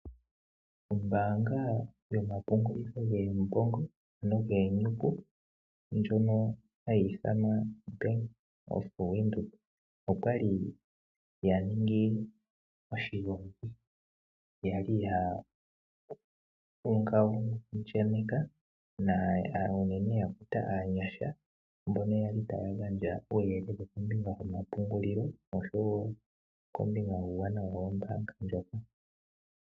Ombaanga yomapungulitho goombongo ano giinyuku ndjoka hayi ithanwa Bank Windhoek oya li ya ningi oshigongi ya li ya kuta aanyasha mbono ya li taya gandja uuyelele kombinga yomapungulilo oshowo kombinga yuuwanawa wombaanga ndjoka.